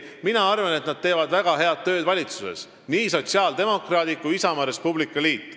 Mina arvan, et nad teevad väga head tööd valitsuses, nii sotsiaaldemokraadid kui ka Isamaa ja Res Publica Liit.